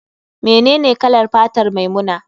Menene kalar fatar maimuna?